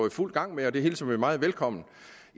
i fuld gang med og det hilser vi meget velkommen